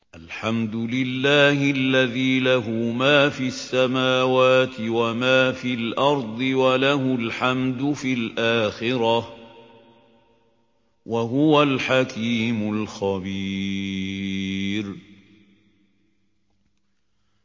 الْحَمْدُ لِلَّهِ الَّذِي لَهُ مَا فِي السَّمَاوَاتِ وَمَا فِي الْأَرْضِ وَلَهُ الْحَمْدُ فِي الْآخِرَةِ ۚ وَهُوَ الْحَكِيمُ الْخَبِيرُ